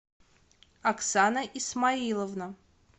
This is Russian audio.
оксана исмаиловна